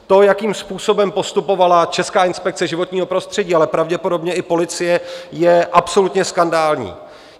To, jakým způsobem postupovala Česká inspekce životního prostředí, ale pravděpodobně i policie, je absolutně skandální.